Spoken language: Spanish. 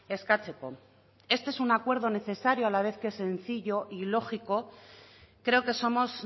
eskatzeko este es un acuerdo necesario a la vez que sencillo y lógico creo que somos